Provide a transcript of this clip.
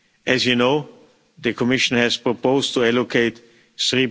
As you know, the Commission has proposed to allocate